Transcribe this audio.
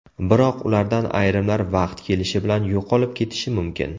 Biroq ulardan ayrimlar vaqt kelishi bilan yo‘qolib ketishi mumkin.